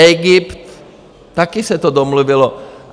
Egypt - taky se to domluvilo.